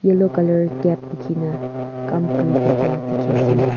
yellow colour cap bhuki na kam kuri thakela dikhi ase.